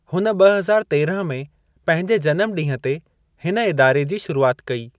हुन ब॒ हज़ार तेरहं में पंहिंजे जनमु ॾींह ते हिन इदारे जी शुरूआत कई।